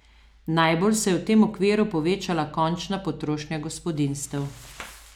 Najbolj se je v tem okviru povečala končna potrošnja gospodinjstev.